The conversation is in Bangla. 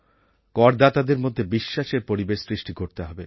করদাতাদের মধ্যে বিশ্বাসের পরিবেশ সৃষ্টি করতে হবে